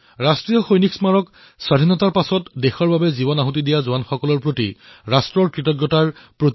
ৰাষ্ট্ৰীয় সৈনিক স্মাৰক হল স্বাধীনতাৰ পিছত সৰ্বোচ্চ বলিদান দিয়া জোৱানসকলৰ প্ৰতি ৰাষ্ট্ৰৰ কৃতজ্ঞতাৰ প্ৰতীক